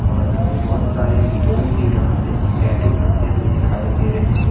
और अ बहुत सारे लोग भी यहां पे स्केटिंग करते हुए दिखाई दे रहे हैं।